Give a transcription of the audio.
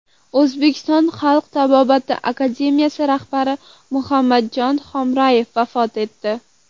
O‘zbekiston xalq tabobati akademiyasi rahbari Muhammadjon Hamroyev vafot etdi.